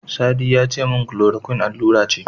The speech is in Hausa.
Sadi yace min Chloroquine allura ce.